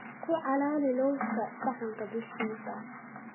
Ku calaali lowska saxanka dushiisa.